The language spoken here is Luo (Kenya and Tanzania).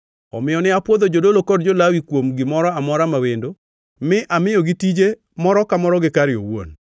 Omiyo ne apwodho jodolo kod jo-Lawi kuom gimoro amora ma wendo, mi amiyogi tije, moro ka moro gi kare owuon.